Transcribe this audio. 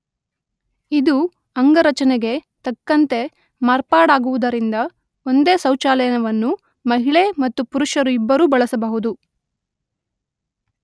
ಇದು ಅಂಗರಚನೆಗೆ ತಕ್ಕಂತೆ ಮಾರ್ಪಾಡಾಗುವುದರಿಂದ ಒಂದೇ ಶೌಚಾಲಯವನ್ನು ಮಹಿಳೆ ಮತ್ತು ಪುರುಷ ಇಬ್ಬರೂ ಬಳಸಬಹುದು.